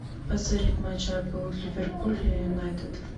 посмотреть матч апл ливерпуль юнайтед